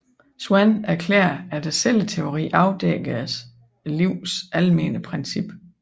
Schwann erklærede at celleteorien afdækkede livets almene princip